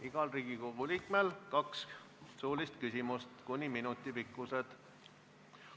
Igal Riigikogu liikmel on võimalus esitada kaks suulist küsimust, pikkus kuni üks minut.